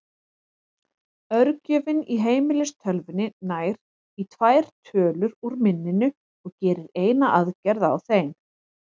Örgjörvinn í heimilistölvunni nær í tvær tölur úr minninu og gerir eina aðgerð á þeim.